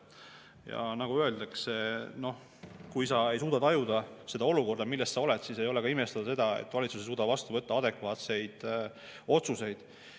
Ja nagu öeldakse, kui sa ei suuda tajuda seda olukorda, milles sa oled, siis ei ole ka imestada, et valitsus ei suuda vastu võtta adekvaatseid otsuseid.